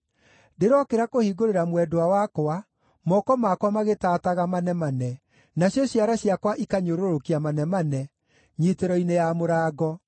Ndĩrokĩra kũhingũrĩra mwendwa wakwa, moko makwa magĩtaataga manemane, nacio ciara ciakwa ikanyũrũrũkia manemane, nyiitĩro-inĩ ya mũrango.